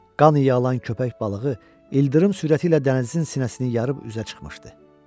Qan iyi alan köpək balığı ildırım sürəti ilə dənizin sinəsini yarıb üzə çıxmışdı.